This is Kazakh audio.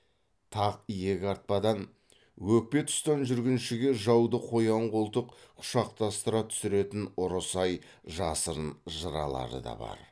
тақ иек артпадан өкпе тұстан жүргіншіге жауды қоян қолтық құшақтастыра түсіретін ұры сай жасырын жыралары да бар